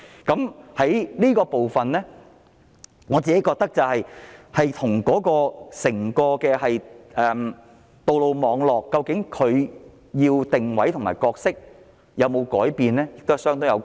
就着這個部分，我覺得與整個道路網絡的定位和角色有否改變相當有關係。